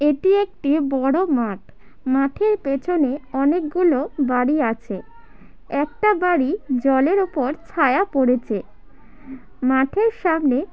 এটি একটি বড়ো মাঠ মাঠের পেছনে অনেকগুলো বাড়ি আছে একটা বাড়ি জলের ওপর ছায়া পড়েছে মাঠের সামনে--